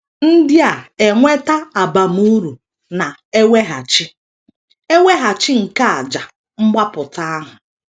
ndia - enweta abamuru na - eweghachi eweghachi nke àjà mgbapụta ahụ.